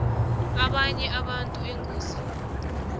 abanye abantu engozini